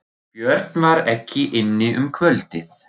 Björn var ekki inni um kvöldið.